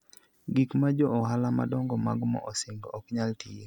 Gik ma jo ohala madongo mag mo osingo, ok nyal tiyo.